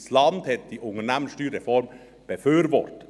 das Land hat diese Unternehmenssteuerreform befürwortet.